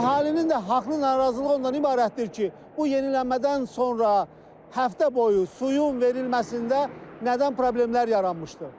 Əhalinin də haqlı narazılığı ondan ibarətdir ki, bu yenilənmədən sonra həftə boyu suyun verilməsində nədən problemlər yaranmışdı?